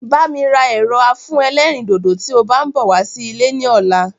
Bá mi ra ẹ̀rọ afúnẹlérìndòdò tí o bá ń bọ̀ wá sí ilé ní ọ̀la